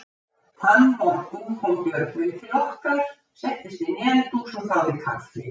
Þann morgun kom Björgvin til okkar, settist inn í eldhús og þáði kaffi.